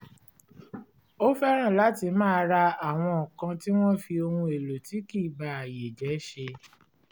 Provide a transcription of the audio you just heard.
ó fẹ́ràn láti máa ra àwọn nǹkan tí wọn fi ohun èlò tí kì í ba ayé jẹ́ ṣe